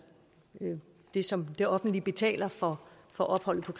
det som det offentlige betaler for opholdet på